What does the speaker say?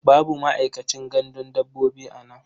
Babu ma'aikacin gandun dabbobi a nan.